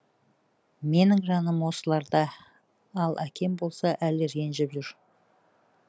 менің жаным осыларда ал әкем болса әлі ренжіп жүр